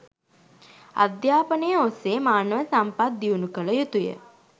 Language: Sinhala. අධ්‍යාපනය ඔස්සේ මානව සම්පත් දියුණු කළ යුතුය.